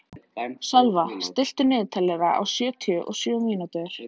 Sölva, stilltu niðurteljara á sjötíu og sjö mínútur.